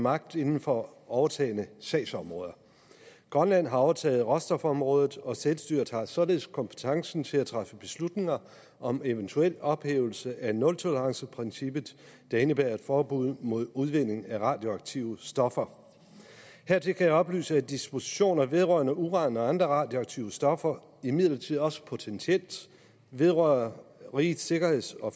magt inden for overtagne sagsområder grønland har overtaget råstofområdet og selvstyret har således kompetencen til at træffe beslutninger om eventuel ophævelse af nultoleranceprincippet der indebærer et forbud mod udvinding af radioaktive stoffer hertil kan jeg oplyse at dispositioner vedrørende uran og andre radioaktive stoffer imidlertid også potentielt vedrører rigets sikkerheds og